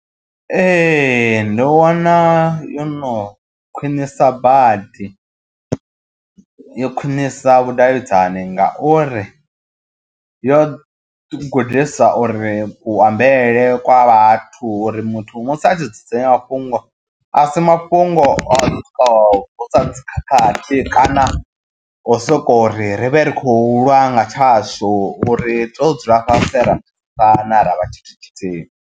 Ee, ndo wana yo no khwinisa badi yo khwinisa vhudavhidzani ngauri yo gudisa uri ku ambele kwa vhathu tori muthu musi a tshi dzudzanya mafhungo asi mafhungo osoko vusa dzi khakhathi kana o soko ri ri vhe ri khou lwa nga tshashu uri ri to dzula fhasi ra vhana ravha tshithu tshithihi.